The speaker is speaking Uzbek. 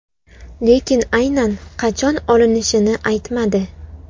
Lekin aynan qachon olinishini aytmadi.